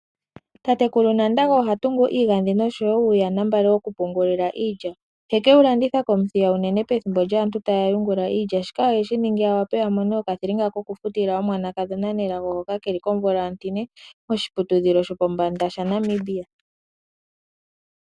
Tatekulu Nandago oha tungu iigandhi noshowo uuyanambale woku pungulila iilya, teke wu landitha kOmuthiya unene pethimbo lyaantu taya yungula iilya. Shika oheshi ningi a wape a mone okathilinga kokufutila omwana kadhona Nelago, hoka keli komvula ontine moahiputudhilo shopopanda shaNamibia.